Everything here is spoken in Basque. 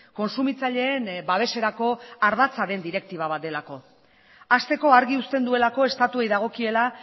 kontsumitzaileen babeserako ardatza den direktiba bat delako hasteko argi uzten duelako estatuei dagokiela